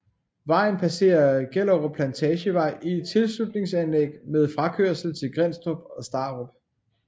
Vejen passere Gellerup Plantagevej i et tilslutningsanlæg med frakørsel til Grindsted og Starup